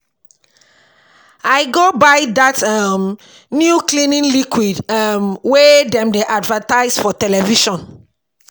I go buy dat um new cleaning liquid um wey dem dem advertise for television.